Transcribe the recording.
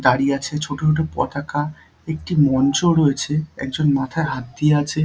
দাঁড়িয়ে আছে ছোট ছোট পতাকা একটি মঞ্চও রয়েছে। একজন মাথায় হাত দিয়ে আছে ।